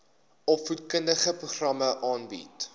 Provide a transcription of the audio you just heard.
opvoedkundige programme aanbied